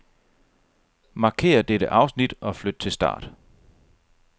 Markér dette afsnit og flyt til start.